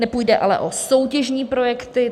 Nepůjde ale o soutěžní projekty.